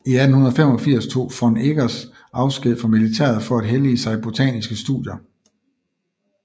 I 1885 tog von Eggers afsked fra militæret for at hellige sig botaniske studier